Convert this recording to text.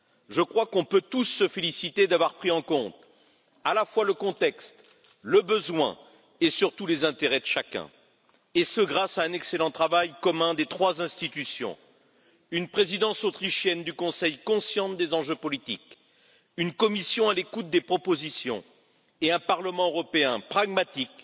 Je crois qu'on peut tous se féliciter d'avoir pris en compte à la fois le contexte, le besoin et surtout les intérêts de chacun, et ce grâce à un excellent travail commun des trois institutions une présidence autrichienne du Conseil consciente des enjeux politiques, une Commission à l'écoute des propositions et un Parlement européen pragmatique.